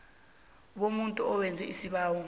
bomuntu owenza isibawo